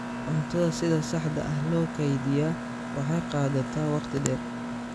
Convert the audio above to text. Cuntada sida saxda ah loo kaydiyaa waxay qaadataa waqti dheer.